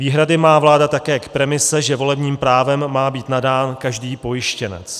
Výhrady má vláda také k premise, že volebním právem má být nadán každý pojištěnec.